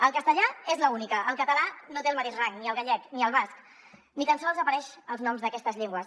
el castellà és l’única el català no té el mateix rang ni el gallec ni el basc ni tan sols apareixen els noms d’aquestes llengües